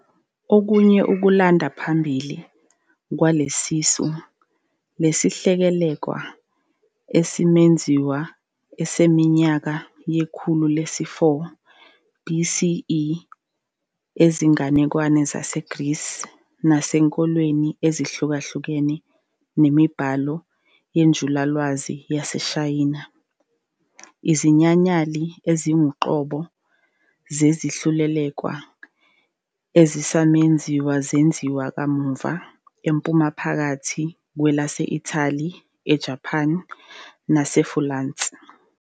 Okunye ukulanda kwaphambili kwalelisu lesihlelelekwa esiwumenzo ngesiminyaka yekhulu lesi-4 BCE ezinganekwaneni zaseGrisi nasenkolweni ezihlukahlukene nemibhalo yenjulalwazi yaseShayina. Izinyanyali ezingokoqobo zezihlelelekwa ezisamenzo zenziwa kamuva eMpuma ephakathi, kwelase-Ithali, eJaphani naseFulansi.